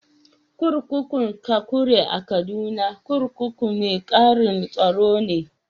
Kurkukun Kakuri a Kaduna, kurkukun mai ƙaran tsaro ne.